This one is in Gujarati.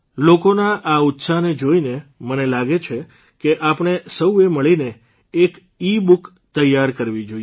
લોકોના આ ઉત્સાહને જોઇને મને લાગે છે કે આપણે સૌએ મળીને એક ઇબુક તૈયાર કરવી જોઇએ